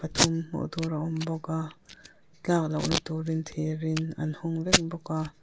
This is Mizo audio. thum hmuh tur a awm bawk a tlak lo na tur in thir in an hnung vek bawk a.